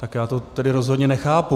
Tak já to tedy rozhodně nechápu.